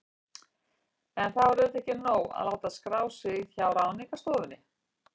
En það var auðvitað ekki nóg að láta skrá sig hjá Ráðningarstofunni.